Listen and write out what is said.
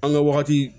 An ka wagati